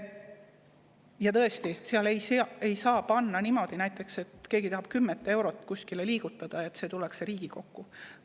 Ja tõesti, seal ei saa teha niimoodi, et kui keegi tahab näiteks 10 eurot kuskile liigutada, siis peab selleks tulema siia Riigikokku.